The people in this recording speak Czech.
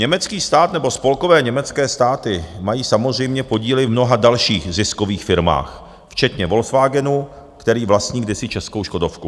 Německý stát nebo spolkové německé státy mají samozřejmě podíly v mnoha dalších ziskových firmách včetně Volkswagenu, který vlastní kdysi českou Škodovku.